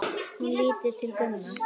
Hún lítur til Gumma.